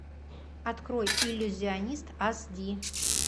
открой иллюзионист ас ди